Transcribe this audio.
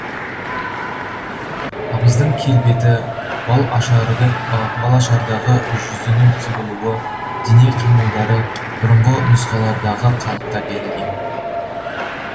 абыздың келбеті бал ашардағы жүзінің құбылуы дене қимылдары бұрынғы нұсқалардағы қалыпта берілген